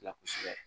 La kosɛbɛ